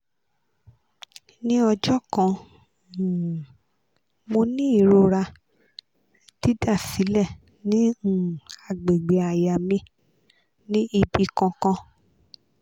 ni ọjọ kan um mo ni irora didasilẹ ni um agbegbe àyà mi ni ibi kan kan